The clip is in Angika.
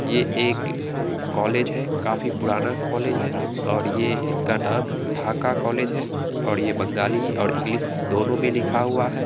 ये एक कॉलेज है। काफी पुराना कॉलेज है और ये इसका नाम ढाका कॉलेज है और ये बंगाली और इंग्लिश दोनों में लिखा हुआ है।